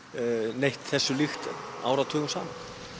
neitt þessu líkt áratugum saman